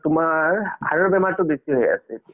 তোমাৰ heart ৰ বেমাৰতো বেছি হৈ আছে এতিয়া